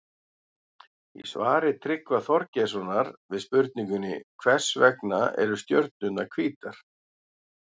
Í svari Tryggva Þorgeirssonar við spurningunni Hvers vegna eru stjörnurnar hvítar?